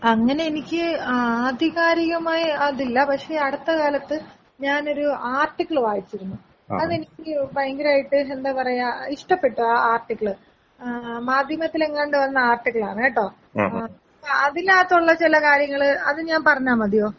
അങ്ങനെ എനിക്ക് ആധികാരികമായി അതില്ല പക്ഷെ അട്ത്ത കാലത്ത് ഞാനൊരു ആർട്ടിക്കൾ വായിച്ചിരുന്നു. അതെനിക്ക് ഭയങ്കരായിട്ട് എന്ത പറയാ ഇഷ്ട്ടപെട്ടു ആ ആർട്ടിക്കൾ ആ മാധ്യമത്തിലെങ്ങാണ്ടോ വന്ന ആർട്ടിക്കളാണ് കേട്ടോ. അപ്പൊ അതിനകത്തുള്ള ചെല കാര്യങ്ങള് അത് ഞാൻ പറഞ്ഞാ മതിയോ.